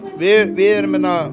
við erum